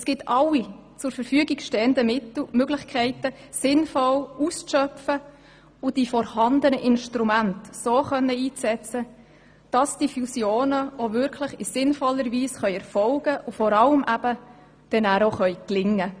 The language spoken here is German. Es gilt, alle zur Verfügung stehenden Möglichkeiten sinnvoll auszuschöpfen und die vorhandenen Instrumente so einzusetzen, dass die Fusionen auch wirklich in sinnvoller Weise erfolgen und dann auch gelingen können.